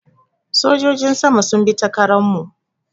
Sojojin sama sun bi ta Karan mu